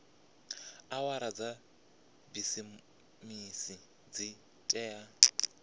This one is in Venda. awara dza bisimisi dzi tea